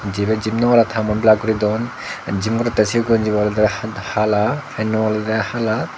jibey gym nogorer tha mun black guri dun gym gorettey sibey gonji bu oley hala pant u olodey hala.